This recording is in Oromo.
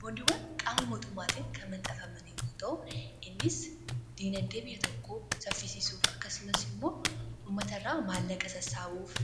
Boondiiwwan qaama mootummaatiin kan maxafaman Yoo ta'u innis guddina biyya tokko saffisisuuf akkasumas immoo ummata irraa maallaqa sassaawuuf